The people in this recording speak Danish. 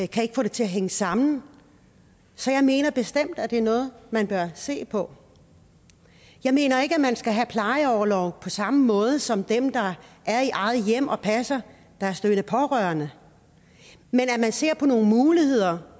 kan ikke få det til at hænge sammen så jeg mener bestemt det er noget man bør se på jeg mener ikke at man skal have plejeorlov på samme måde som dem der er i eget hjem og passer deres døende pårørende men at se på nogle muligheder